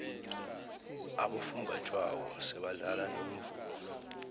abofunjathwako sebadlala nomvumo